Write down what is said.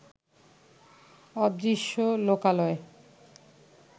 অদৃশ্য লোকালয়